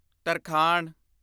ਤਰਖਾਣ